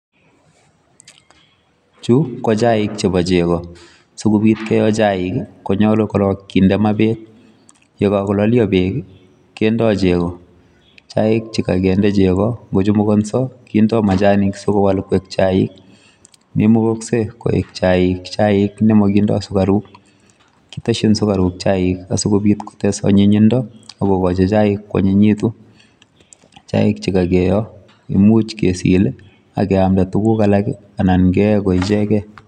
Chuu ko chaik chebo chegoo, sikobiit keyee chaik ii konyaluu korong kinde maa beek ye kakolalia beek kindee chegoo, chaik chekakindaa chegoo kochumukasai sikowaal koek chaik maimukaksei koek chaik nemakindaa sugariuk kitesyiin sugariuk chaik asikobiit kotes anyinyindo ak kogochi chaik ko anynyituun ,chaik che kakiyoe imuuch kesiil ak keyamdaa tuguuk alaak anan keyamdaa ko ichegeen.